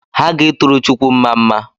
Ha ga-ituru chukwu mmamma